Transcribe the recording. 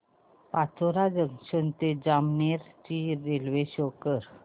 Pachora junction ते जामनेर ची railway show कर